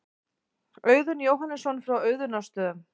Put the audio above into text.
Auðunn Jóhannesson frá Auðunnarstöðum.